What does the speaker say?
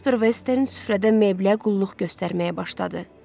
Casper Western süfrədən mebelə qulluq göstərməyə başladı.